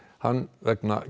hann vegna